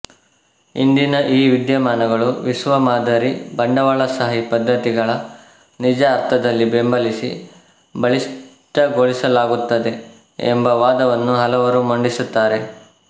ಇಂದಿನ ಈ ವಿದ್ಯಮಾನಗಳು ವಿಶ್ವ ಮಾದರಿ ಬಂಡವಾಳಶಾಹಿ ಪದ್ದತಿಗಳ ನಿಜ ಅರ್ಥದಲ್ಲಿ ಬೆಂಬಲಿಸಿ ಬಲಿಷ್ಟಗೊಳಿಸಲಾಗುತ್ತದೆ ಎಂಬ ವಾದವನ್ನೂ ಹಲವರು ಮಂಡಿಸುತ್ತಾರೆ